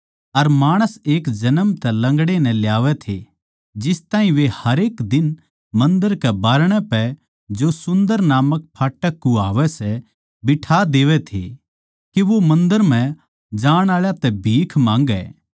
अर माणस एक जन्म तै लंगड़े नै ल्यावै थे जिस ताहीं वे हरेक दिन मन्दर कै बाहरणै पै जो सुन्दर नामक फाटक कुह्वावै सै बिठा देवै थे के वो मन्दर म्ह जाण आळा तै भीख माँगै